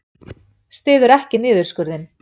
Styður ekki niðurskurðinn